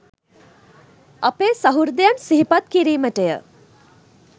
අපේ සහෘදයන් සිහිපත් කිරිමටය